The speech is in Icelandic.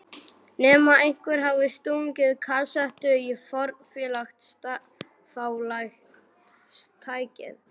Nema einhver hafi stungið kasettu í fornfálegt tækið.